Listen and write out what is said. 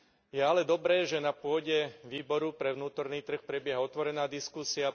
Je ale dobré, že na pôde výboru pre vnútorný trh prebieha otvorená diskusia.